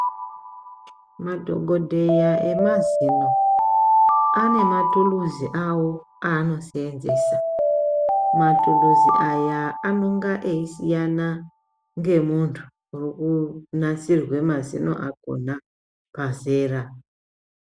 Madhokodheya emazino ane mathuluzi awo aanoseenzesa, mathuluzi aya anonga eyisiyana ngemuntu urunasirwa mazino akona pazera.